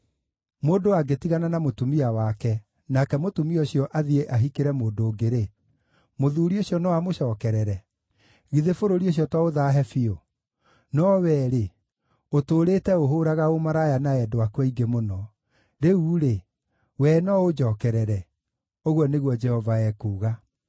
“Mũndũ angĩtigana na mũtumia wake, nake mũtumia ũcio athiĩ ahikĩre mũndũ ũngĩ-rĩ, mũthuuri ũcio no amũcookerere? Githĩ bũrũri ũcio to ũthaahe biũ? No wee-rĩ, ũtũũrĩte ũhũũraga ũmaraya na endwa aku aingĩ mũno! Rĩu-rĩ, wee no ũnjookerere?” ũguo nĩguo Jehova ekuuga.